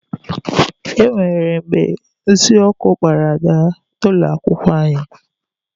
E nwere mgbe nsị ọkụ kpara Ada n'ụlọ akwụkwọ anyị.